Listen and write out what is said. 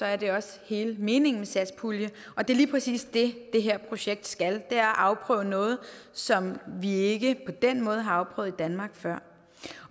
er det også hele meningen med satspuljen og det er lige præcis det det her projekt skal nemlig at afprøve noget som vi ikke på den måde har afprøvet i danmark før